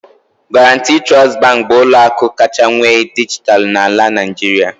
Guaranty Trust Bank bụ ụlọ akụ kacha nwee dijitalụ na Nigeria